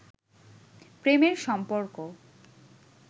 প্রেমের সম্পর্ক